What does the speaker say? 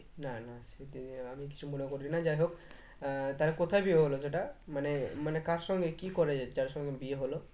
না না সেটা আমি কিছু মনে করিনি যাইহোক আহ তালে কোথায় বিয়ে হলো সেটা মানে মানে কার সঙ্গে কি করে যার সঙ্গে বিয়ে হলো